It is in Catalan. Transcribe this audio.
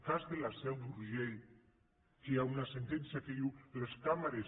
cas de la seu d’urgell que hi ha una sentència que diu les càmeres